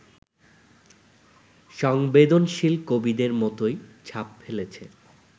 সংবেদনশীল কবিদের মতোই ছাপ ফেলেছে